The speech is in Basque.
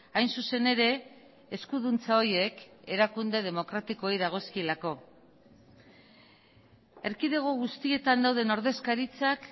hain zuzen ere eskuduntza horiek erakunde demokratikoei dagozkielako erkidego guztietan dauden ordezkaritzak